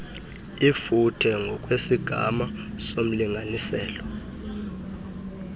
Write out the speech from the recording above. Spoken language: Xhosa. ifuthe ngokwesigama somlinganiselo